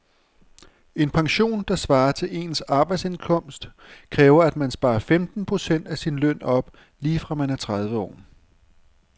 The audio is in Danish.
En pension, der svarer til ens arbejdsindkomst, kræver at man sparer femten procent af sin løn op lige fra man er tredive år.